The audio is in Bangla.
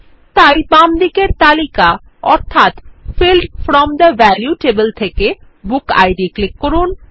তাই বামদিকের তালিকা অর্থাৎ field from the value table থেকে বুক আইডি ক্লিক করুন